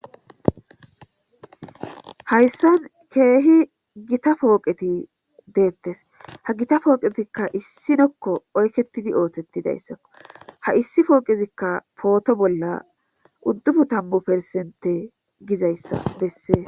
Hayssan keehi gita pooqeti deettes ha gita pooqetikka issinokko oyketidi oothetidayssakko ha issi pooqezikka pooto bolla uddubu tammu persente gizayssa bessees.